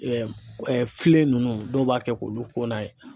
filen ninnu dɔw b'a kɛ k'olu ko n'a ye